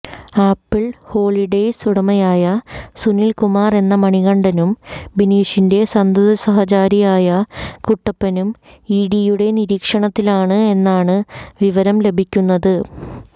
apple Holidays ഉടമയായ സുനിൽ കുമാർ എന്ന മണികണ്ഠനും ബിനീഷിന്റെ സന്തതസഹചാരിയായ കുട്ടപ്പനും ഇഡിയുടെ നിരീക്ഷണത്തിലാണ് എന്നാണ് വിവരം ലഭിക്കുന്നത്